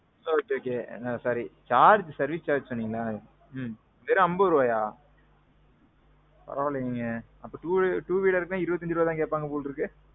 ஓ okay okay sorry. charge service charge சொன்னீங்களா. ம்ம். வெறும் அம்பது ரூபாயா? பரவா இல்லிங்க. அப்போ two wheeler ன்னா, இருபத்தி அஞ்சு ரூபா தான் கேப்பாங்க போலருக்கு.